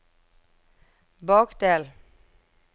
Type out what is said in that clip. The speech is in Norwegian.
bakdel